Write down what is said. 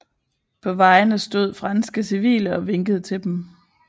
På vejene stod franske civile og vinkede til dem